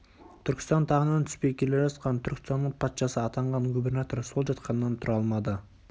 түркістан тағынан түспей келе жатқан түркістанның патшасы атанған губернатор сол жатқаннан тұра алмады